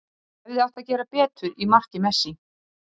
Í undirbúningi eru virkjanir við Búðarháls, Minna-Núp og Urriðafoss.